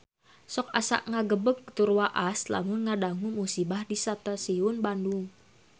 Sok asa ngagebeg tur waas lamun ngadangu musibah di Stasiun Bandung